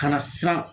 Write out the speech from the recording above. Ka na siran